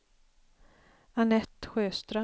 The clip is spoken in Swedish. Annette Sjöström